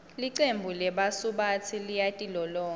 licembu lebasubatsi liyatilolonga